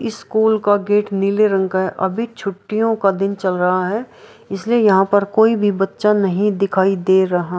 school का gate नीले रंग का है अभी छुटियो का दिन चल रहा है इसलिए यहाँ पे कोई भी बच्चा नहीं दिखाई दे रहा --